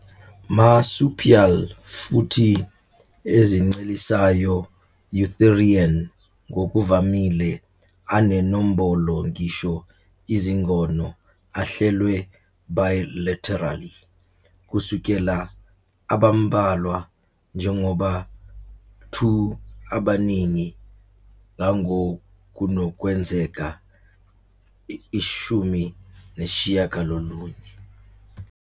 Marsupial futhi ezincelisayo eutherian ngokuvamile anenombolo ngisho izingono ahlelwe bilaterally, kusukela abambalwa njengoba 2 abaningi ngangokunokwenzeka 19.